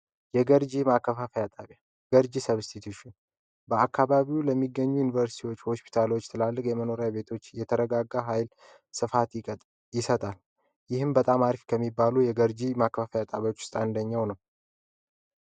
የገርጂ ማከፋፈያ ጣቢያ ገርጂ ሰብስቲቲውሽን በአካባቢው ለሚገኙ ዩኒቨርሲቲዎች፣ ሆስፒታሎች፣ ትላልቅ የመኖሪያ ቤቶች የተረጋጋ ኃይል ስፋት ይሰጣል። ይህን በጣም አሪፍ ከሚባሉ የገርጂ ማክፋፈያ ጣቢያዎች ውስጥ አንደኛው ነው።